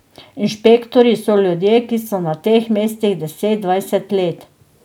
Inšpektorji so ljudje, ki so na teh mestih deset, dvajset let.